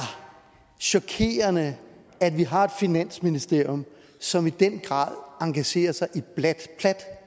chokerende at vi har et finansministerium som i den grad engagerer sig i plat